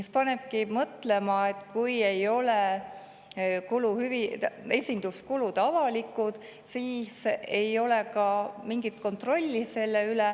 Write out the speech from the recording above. See panebki mõtlema, et kui esinduskulud ei ole avalikud, siis ei ole ka mingit kontrolli nende üle.